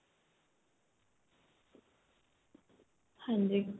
ਹਾਂਜੀ